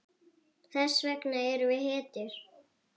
Þess vegna erum við hetjur.